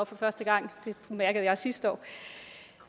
for første gang det mærkede jeg sidste år